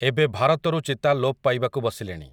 ଏବେ ଭାରତରୁ ଚିତା ଲୋପ୍ ପାଇବାକୁ ବସିଲେଣି ।